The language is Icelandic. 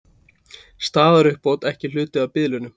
Staðaruppbót ekki hluti af biðlaunum